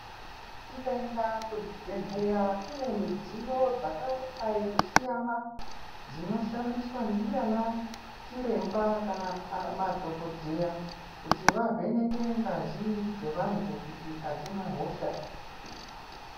Tikaenda kuzvibhedhlera kune midziyo dzakadai kusiyana dzinoshandiswa ndianachiremba kana madhokodheya kuti vavheneke ngazi dzevantu kuti adzina hosha.